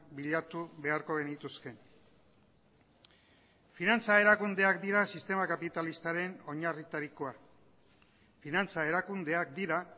bilatu beharko genituzke finantza erakundeak dira sistema kapitalistaren oinarritarikoa finantza erakundeak dira